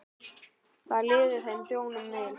Þá liði þeim hjónum vel.